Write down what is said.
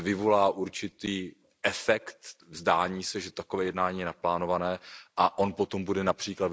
že vyvolá určitý efekt, zdání se, že je takové jednání naplánovano, a on potom bude např.